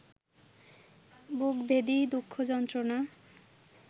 বুকভেদি দুঃখ-যন্ত্রণা